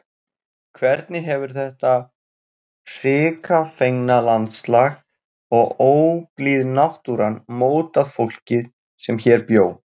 Hvernig hefur þetta hrikafengna landslag og óblíð náttúran mótað fólkið sem hér bjó?